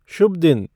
शुभ दिन